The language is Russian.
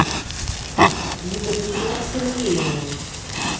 екатерина сергеевна